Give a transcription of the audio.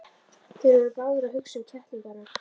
Þeir voru báðir að hugsa um kettlingana.